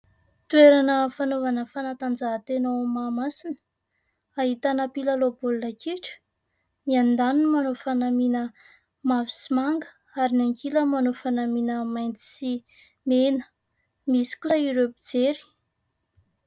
Toerana fanaovana fanatanjahantena ao Mahamasina, ahitana mpilalao baolina kitra : ny andaniny manao fanamiana manga ary ny ankilany manao fanamiana mainty sy mena, misy kosa ireo mpijery.